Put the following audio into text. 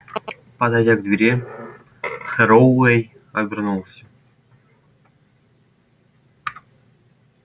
подойдя к двери херроуэй обернулся